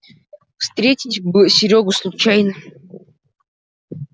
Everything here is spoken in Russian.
встретить бы серёгу случайно